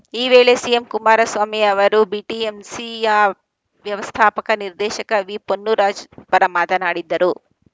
ಈ ವೇಳೆ ಸಿಎಂ ಕುಮಾರಸ್ವಾಮಿ ಅವರು ಬಿಟಿಎಂಸಿಯ ವ್ಯವಸ್ಥಾಪಕ ನಿರ್ದೇಶಕ ವಿಪೊನ್ನುರಾಜ್‌ ಪರ ಮಾತನಾಡಿದ್ದರು